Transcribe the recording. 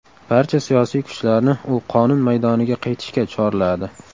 Barcha siyosiy kuchlarni u qonun maydoniga qaytishga chorladi.